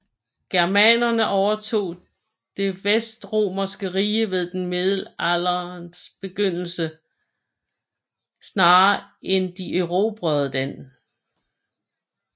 Germanerne overtog det vestromerske rige ved den middelalderens begyndelse snarere end de erobrede det